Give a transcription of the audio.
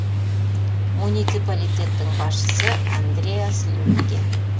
муниципалитеттің басшысы андреас люкке